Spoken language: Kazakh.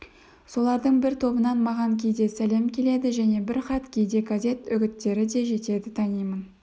солардың бір тобынан маған кейде сәлем келеді және бір хат кейде газет үгіттері де жетеді танимын